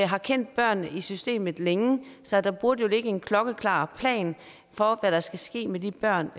har kendt børnene i systemet længe så der burde jo ligge en klokkeklar plan for hvad der skal ske med de børn